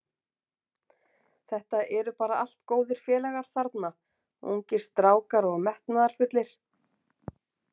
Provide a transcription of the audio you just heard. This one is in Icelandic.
Þetta eru bara allt góðir félagar þarna, ungir strákar og metnaðarfullir.